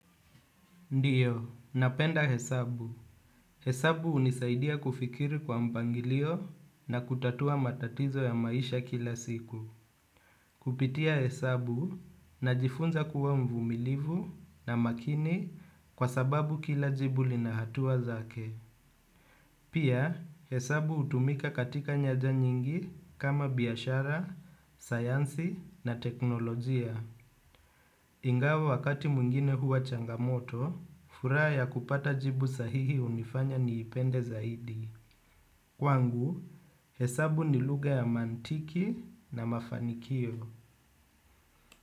Ndiyo, napenda hesabu. Hesabu unisaidia kufikiri kwa mpangilio na kutatua matatizo ya maisha kila siku. Kupitia hesabu na jifunza kuwa mvumilivu na makini kwa sababu kila jibu linahatua zake. Pia, hesabu utumika katika nyaja nyingi kama biyashara, sayansi na teknolojia. Ingawa wakati mwingine huwa changamoto, furaha ya kupata jibu sahihi unifanya niipende zaidi. Kwangu, hesabu ni lugha ya mantiki na mafanikio.